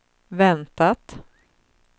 väntat